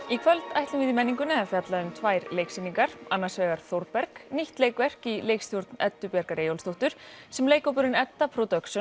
í kvöld ætlum við í menningunni að fjalla um tvær leiksýningar annars vegar Þórberg nýtt leikverk í leikstjórn Eddu Bjargar Eyjólfsdóttur sem leikhópurinn Edda